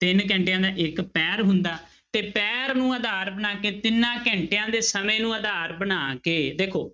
ਤਿੰਨ ਘੰਟਿਆਂ ਦਾ ਇੱਕ ਪਹਿਰ ਹੁੰਦਾ ਤੇ ਪਹਿਰ ਨੂੰ ਆਧਾਰ ਬਣਾ ਕੇ ਤਿੰਨਾਂ ਘੰਟਿਆਂ ਦੇ ਸਮੇਂ ਨੂੰ ਆਧਾਰ ਬਣਾ ਕੇ ਦੇਖੋ